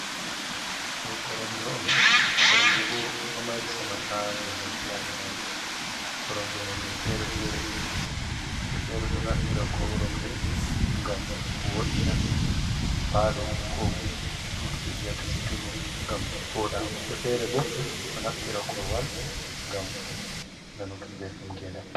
Do koromje on koromje bo do mari saman ha gedam bi adamajo ,koromje nonne fere woɓɓe fere do naftira koromje gam wo’ina palo ko sudu be viyata siturum, gam voda wobbe fere bo do naftira korowal gam nanugi beldum gedam.